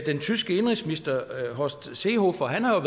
den tyske indenrigsminister horst seehofer har